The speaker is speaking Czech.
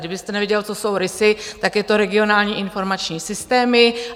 Kdybyste nevěděl, co jsou RISY, tak je to regionální informační systémy.